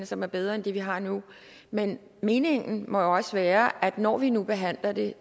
som er bedre end det vi har nu men meningen må jo også være at når vi nu behandler det